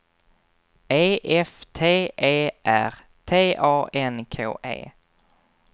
E F T E R T A N K E